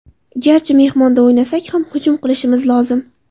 Garchi mehmonda o‘ynasak ham, hujum qilishimiz lozim.